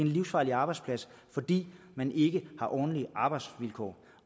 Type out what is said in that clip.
livsfarlig arbejdsplads fordi man ikke har ordentlige arbejdsvilkår